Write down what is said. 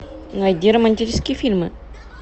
найди романтические фильмы